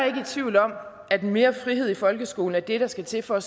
ikke i tvivl om at mere frihed i folkeskolen er det der skal til for